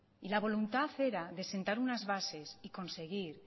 y la voluntad era de sentar unas bases y conseguir